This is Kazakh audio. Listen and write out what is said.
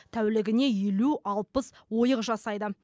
тәулігіне елу алпыс ойық жасайды